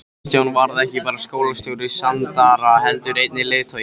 Kristján varð ekki bara skólastjóri Sandara heldur einnig leiðtogi.